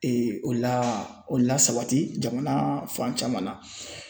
o la o lasabati jamana fan caman na